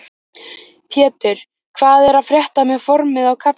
Pétur: Hvað er að frétta með formið á kallinum?